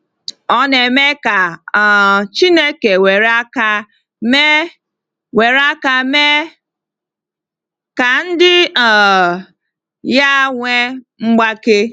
Ọ na-eme ka um Chineke were aka mee were aka mee ka ndị um ya nwee mgbake.